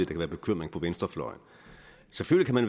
den bekymring